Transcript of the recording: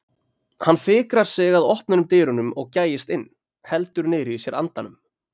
Hann fikrar sig að opnum dyrunum og gægist inn, heldur niðri í sér andanum.